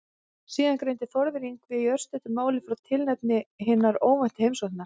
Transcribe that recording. Síðan greindi Þórður Yngvi í örstuttu máli frá tilefni hinnar óvæntu heimsóknar.